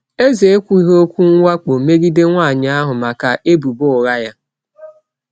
Eze ekwughị okwu mwakpo megide nwanyị ahụ maka ebubo ụgha ya.